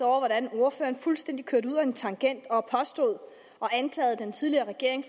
over hvordan ordføreren fuldstændig kørte ud ad en tangent og anklagede den tidligere regering